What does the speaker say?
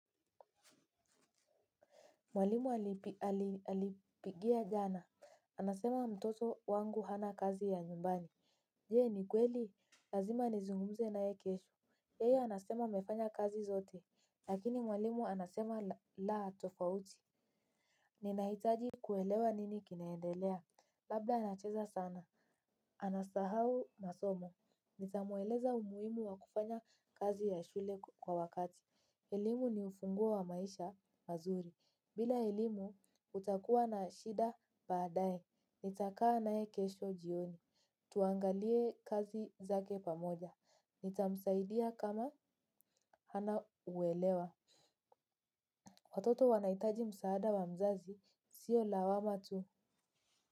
Mwalimu alipigia jana, anasema mtoto wangu hana kazi ya nyumbani. Je ni kweli lazima nizungumze naye kesho yeye anasema amefanya kazi zote lakini mwalimu anasema la tofauti. Ninahitaji kuelewa nini kinaendelea. Labda anacheza sana. Anasahau masomo. Nitamueleza umuimu wa kufanya kazi ya shule kwa wakati. Elimu ni ufunguo wa maisha mazuri. Bila elimu, utakuwa na shida baadae. Nitakaa nae kesho jioni. Tuangalie kazi zake pamoja. Nitamsaidia kama hana uwelewa. Watoto wanahitaji msaada wa mzazi sio lawama tu.